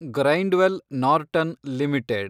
Grindwell Norton limited